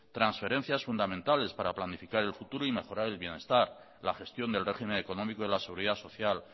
transferencias fundamentales para planificar el futuro y mejorar el bienestar la gestión del régimen económico de la seguridad social